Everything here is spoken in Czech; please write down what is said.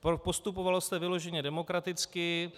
Postupovalo se vyloženě demokraticky.